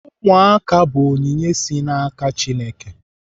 Ụmụaka bụ onyinye si n'aka Chineke.